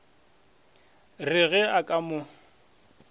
re ge a ka mo